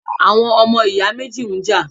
Àwọn ọmọ ìyá méjì ń jà